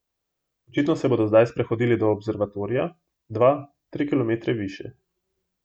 Očitno se bodo zdaj sprehodili do observatorija, dva, tri kilometre više.